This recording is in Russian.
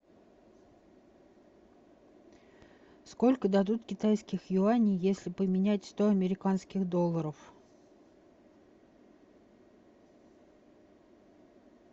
сколько дадут китайских юаней если поменять сто американских долларов